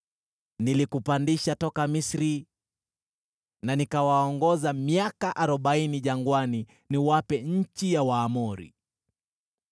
“Niliwapandisha toka Misri, na nikawaongoza miaka arobaini jangwani niwape nchi ya Waamori.